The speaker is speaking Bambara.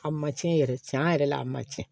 A ma tiɲɛ yɛrɛ tiɲɛ a yɛrɛ la a ma tiɲɛ